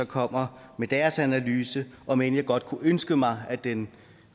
kommer med deres analyse om end jeg godt kunne ønske mig at den